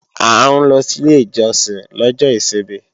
À ń lọ sí ilé ìjọsìn lọ́jọ́ ìsinmi